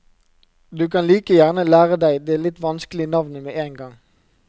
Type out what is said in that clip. Du kan like gjerne lære deg det litt vanskelige navnet med en gang.